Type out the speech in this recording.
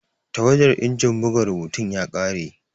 Tawadar injin buga rubutun ya kare.